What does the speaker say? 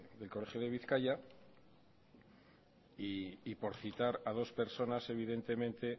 del colegio de bizkaia y por citar a dos personas evidentemente